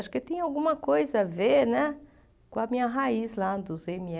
Acho que tem alguma coisa a ver né com a minha raiz lá dos ême